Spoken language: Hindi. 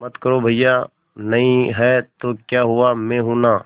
मत करो भैया नहीं हैं तो क्या हुआ मैं हूं ना